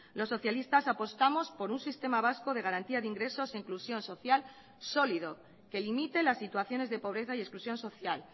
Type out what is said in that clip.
los socialistas apostamos por un sistema vasco de garantía de ingresos e inclusión social sólido que limite las situaciones de pobreza y exclusión social